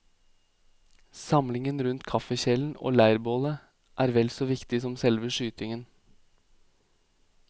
Samlingen rundt kaffekjelen og leirbålet er vel så viktig som selve skytingen.